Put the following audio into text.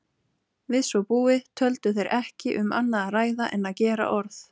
Við svo búið töldu þeir ekki um annað að ræða en að gera orð